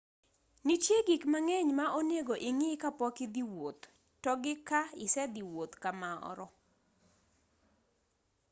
nitie gik mang'eny ma onego ing'i ka pok idhi wuoth togi ka isedhii wuoth kamoro